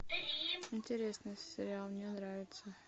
интересный сериал мне нравится